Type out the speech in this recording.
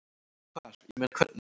Hvar, ég meina. hvernig?